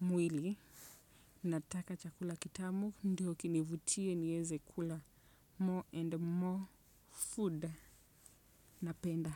mwili. Nataka chakula kitamu. Ndiyo kinivutie niweze kula more and more food. Napenda.